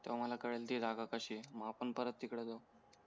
तेव्हा मला कळेल ती जागा कशी आहे मग आपण परत तिकडे जाऊ